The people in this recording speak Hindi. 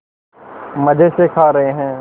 मज़े से खा रहे हैं